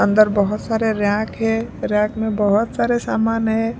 अंदर बहुत सारे रैयाक है रैक में बहुत सारे सामान है।